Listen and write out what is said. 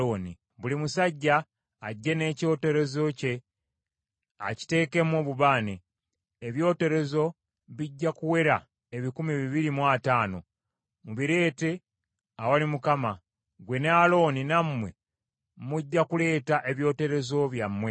Buli musajja ajje n’ekyoterezo kye akiteekemu obubaane, ebyoterezo bijja kuwera ebikumi bibiri mu ataano, mubireete awali Mukama . Ggwe ne Alooni nammwe mujja kuleeta ebyoterezo byammwe.”